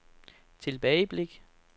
tilbageblik